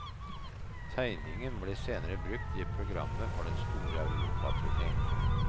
Tegningen ble senere brukt i programmet for den store europaturné.